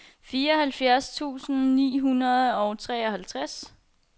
fireoghalvfjerds tusind ni hundrede og fireoghalvtreds